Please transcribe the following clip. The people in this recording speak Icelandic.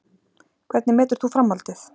Hvernig metur þú framhaldið?